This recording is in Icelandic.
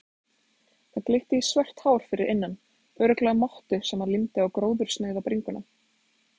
Það glitti í svört hár fyrir innan, örugglega mottu sem hann límdi á gróðursnauða bringuna.